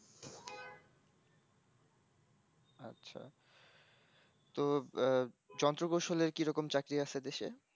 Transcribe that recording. তো আহ যন্ত্র কৌশলের কিরকম চাকরি আছে দেশে